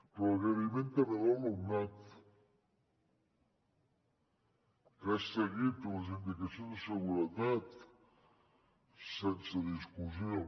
però agraïment també a l’alumnat que ha seguit les indicacions de seguretat sense discussió